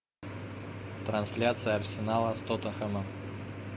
трансляция арсенала с тоттенхэмом